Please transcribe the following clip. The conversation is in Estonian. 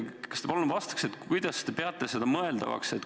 Kas te palun vastaksite, kuidas te peate seda mõeldavaks?